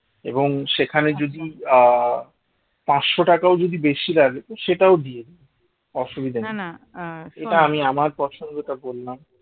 এবং সেখানে যদি আহ পাঁচশ টাকাও যদি বেশি লাগে সেটাও দিও অসুবিধা নেই এটা আমি আমার পছন্দটা বললাম